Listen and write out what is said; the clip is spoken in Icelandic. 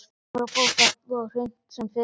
Hún verður að fá þetta á hreint sem fyrst.